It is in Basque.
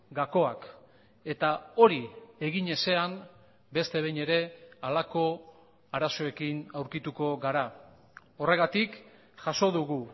gakoak eta hori egin ezean beste behin ere halako arazoekin aurkituko gara horregatik jaso dugu